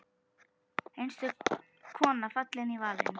Einstök kona fallin í valinn.